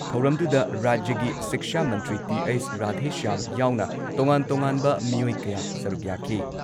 ꯊꯧꯔꯝꯗꯨꯨꯗ ꯔꯥꯖ꯭ꯌꯒꯤ ꯁꯤꯛꯁꯥ ꯃꯟꯇ꯭ꯔꯤ ꯇꯤ.ꯑꯩꯆ. ꯔꯥꯙꯦꯁ꯭ꯌꯥꯝ ꯌꯥꯎꯅ ꯇꯣꯉꯥꯟ ꯇꯣꯉꯥꯟꯕ ꯃꯤꯑꯣꯏ ꯀꯌꯥ ꯁꯔꯨꯛ ꯌꯥꯈꯤ ꯫